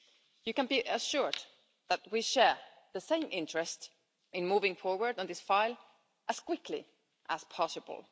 You can be assured that we share the same interest in moving forward on this file as quickly as possible.